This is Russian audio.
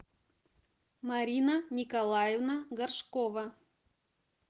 марина николаевна горшкова